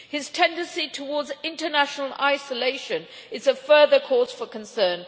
His tendency towards international isolation is a further cause for concern.